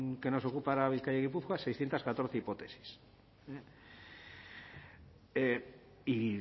que nos ocupa araba bizkaia y gipuzkoa seiscientos catorce hipótesis y